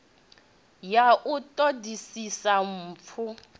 ya u ṱo ḓisisa mpfu